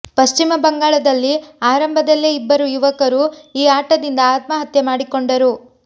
ಪಶ್ಚಿಮ ಬಂಗಾಳದಲ್ಲಿ ಆರಂಭದಲ್ಲೇ ಇಬ್ಬರು ಯುವಕರು ಈ ಆಟದಿಂದ ಆತ್ಮಹತ್ಯೆ ಮಾಡಿಕೊಂಡರು